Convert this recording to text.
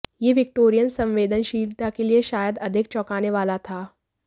यह विक्टोरियन संवेदनशीलता के लिए शायद अधिक चौंकाने वाला था